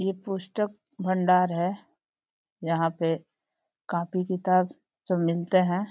ये पुस्तक भंडार है। यहाँ पे कॉपी किताब सब मिलते हैं।